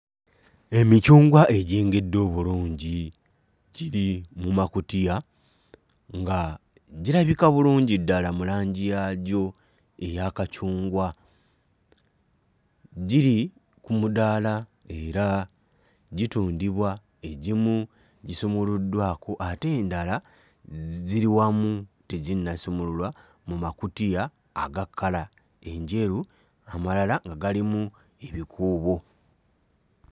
Emicungwa egyengedde obulungi giri mu makutiya nga girabika bulungi ddala mu langi yagyo eya kacungwa, giri ku mudaala era gitundibwa, egimu gisumuluddwako ate endala giri wamu teginnasumululwa mu makutiya aga kkala enjeru amalala nga galimu ebikuubo.